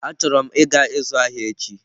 Achoro m ịga ịzụ ahịa echi.